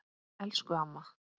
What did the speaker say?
Elsku amma!